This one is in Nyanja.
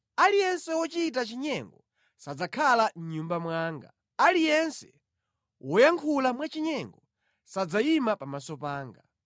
Aliyense wochita chinyengo sadzakhala mʼnyumba mwanga. Aliyense woyankhula mwachinyengo sadzayima pamaso panga.